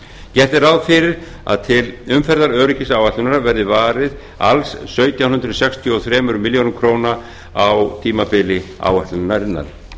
gert er ráð fyrir að til umferðaröryggisáætlunar verði varið alls sautján hundruð sextíu og þremur milljörðum króna á tímabili áætlunarinnar